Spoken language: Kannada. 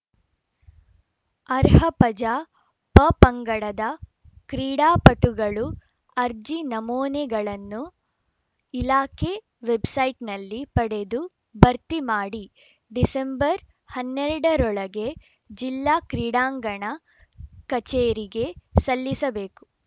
ಅರ್ಹ ಪಜಾ ಪಪಂಗಡದ ಕ್ರೀಡಾಪಟುಗಳು ಅರ್ಜಿ ನಮೂನೆಗಳನ್ನು ಇಲಾಖೆ ವೆಬ್‌ಸೈಟ್‌ನಲ್ಲಿ ಪಡೆದು ಭರ್ತಿ ಮಾಡಿ ಡಿಸೆಂಬರ್ ಹನ್ನೆರಡ ರೊಳಗೆ ಜಿಲ್ಲಾ ಕ್ರೀಡಾಂಗಣ ಕಚೇರಿಗೆ ಸಲ್ಲಿಸಬೇಕು